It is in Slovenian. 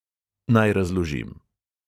Naj razložim.